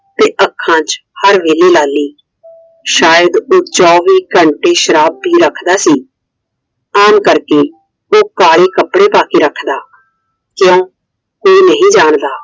ਤੇ ਅੱਖਾਂ ਚ ਹਰ ਵੇਲੇ ਲਾਲੀ ਸ਼ਾਇਦ ਉਹ ਚੌਵੀ ਘੰਟੇ ਸ਼ਰਾਬ ਪੀ ਰੱਖਦਾ ਸੀ। ਆਮ ਕਰਕੇ ਉਹ ਕਾਲੇ ਕੱਪੜੇ ਪਾ ਕੇ ਰੱਖਦਾ। ਕਿਉਂ? ਕੋਈ ਨਹੀਂ ਜਾਂਦਾ।